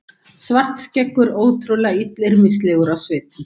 Svartskeggur ótrúlega illyrmislegur á svipinn.